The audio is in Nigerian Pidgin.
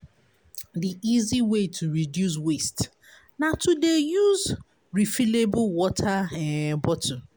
Di easy way to dey reduce waste na to dey use refillable water um bottle.